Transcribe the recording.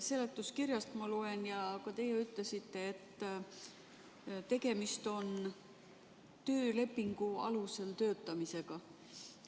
Seletuskirjast ma loen ja ka teie ütlesite, et tegemist on töölepingu alusel töötamisega.